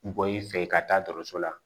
Bɔn i fɛ ka taa dɔkɔtɔrɔso la